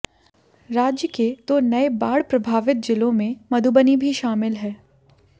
राज्य के दो नए बाढ़ प्रभावित जिलों में मधुबनी भी शामिल है